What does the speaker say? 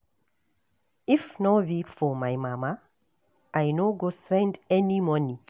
If no be for my mama I no go send any money